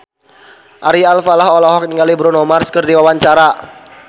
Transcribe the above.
Ari Alfalah olohok ningali Bruno Mars keur diwawancara